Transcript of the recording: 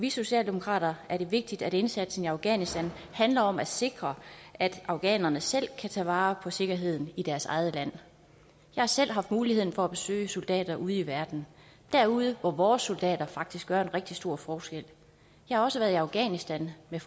i socialdemokraterne er det vigtigt at indsatsen i afghanistan handler om at sikre at afghanerne selv kan tage vare på sikkerheden i deres eget land jeg har selv haft muligheden for at besøge soldater ude i verden derude hvor vores soldater faktisk gør en rigtig stor forskel jeg har også været i afghanistan med